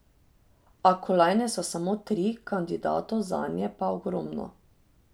A kolajne so samo tri, kandidatov zanje pa ogromno.